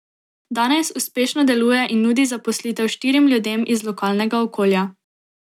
Danes uspešno deluje in nudi zaposlitev štirim ljudem iz lokalnega okolja.